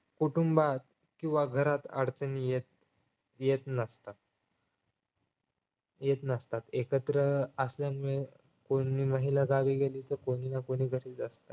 कुटुंबात किंवा घरात अडचणी येत येत नसतात येत नसतात एकत्र असल्यामुळे कोणी महिला गावी गेली तर कोणी ना कोणी घरीच असते